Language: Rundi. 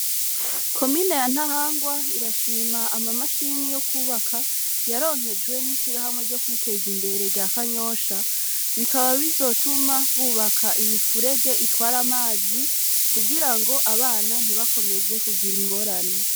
Komine ya Ntahangwa irashima amamashini yo kwubaka yaronkejwe n'ishirahamwe ryo kwiteza imbere rya Kanyosha bikaba bizotuma bubaka imifurege itwara amazi kugira ngo abana ntibakomeze kugira ingorane.